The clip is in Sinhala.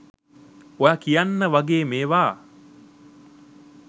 ඔයා කියන්න වගේ මේවා